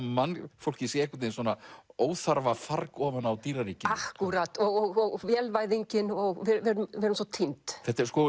mannfólkið sé óþarfa farg ofan á dýraríkinu akkúrat og vélvæðingin við erum svo týnd þetta er